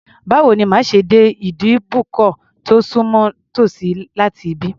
Báwo ni màá ṣe dé ìbùdókọ̀ tó sùnmọ́ tòsí láti ibí?